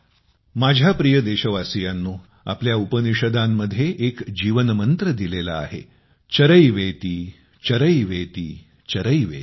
माझ्या प्रिय देशवासियांनो आपल्या उपनिषदांमध्ये एक जीवन मंत्र दिलेला आहे चरैवेतिचरैवेतिचरैवेति